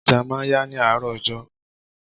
Ọjà máa ń yá ní àárọ̀ ọjọ́.